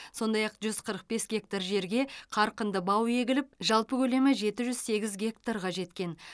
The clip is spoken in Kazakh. сондай ақ жүз қырық бес гектар жерге қарқынды бау егіліп жалпы көлемі жеті жүз сегіз гектарға жеткен